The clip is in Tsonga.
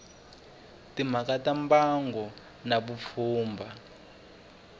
timhaka ta mbango na vupfhumba